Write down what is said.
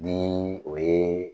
Ni o ye